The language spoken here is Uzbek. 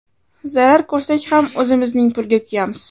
Zarar ko‘rsak ham o‘zimizning pulga kuyamiz.